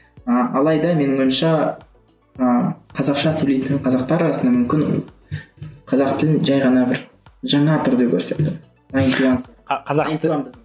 ыыы алайда менің ойымша ыыы қазақша сөйлейтін қазақтар арасында мүмкін қазақ тілін жай ғана бір жаңа түрде көрсетті найнти уан